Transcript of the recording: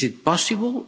Is it possible?